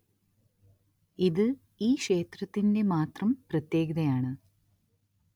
ഇത് ഈ ക്ഷേത്രത്തിന്റെ മാത്രം പ്രത്യേകതയാണ്